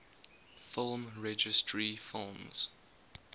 film registry films